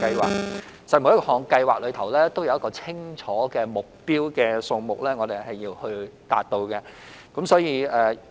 其實，每項計劃均有一個清楚的目標數目是需要達到的。